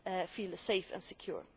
feel safe and secure.